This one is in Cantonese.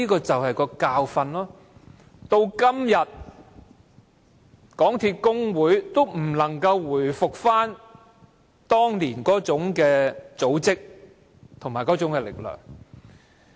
這便是教訓，港鐵公司的工會至今仍不能回復當年那種組織和力量。